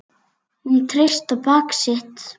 Hún treysti á bak sitt.